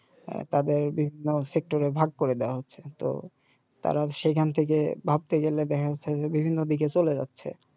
তাদের বিভিন্ন এ ভাগ করে দেয়া হচ্ছে তো তারা সেখান থেকে ভাবতে গেলে দেখা যাচ্ছে যে বিভিন্ন দিকে চলে যাচ্ছে